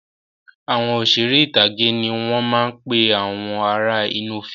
Àwọn Òṣeré ìtàgé ni wọn máa ń pe àwọn ará inú fíìmù